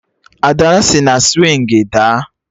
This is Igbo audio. Ada sị na swịngị daa